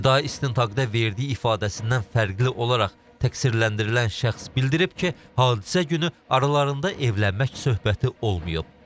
İbtidai istintaqda verdiyi ifadəsindən fərqli olaraq təqsirləndirilən şəxs bildirib ki, hadisə günü aralarında evlənmək söhbəti olmayıb.